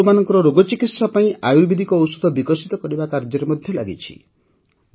ଏହା ପଶୁମାନଙ୍କର ରୋଗ ଚିକିତ୍ସା ପାଇଁ ଆୟୁର୍ବେଦିକ ଔଷଧ ବିକଶିତ କରିବା କାର୍ଯ୍ୟରେ ଲାଗିଛି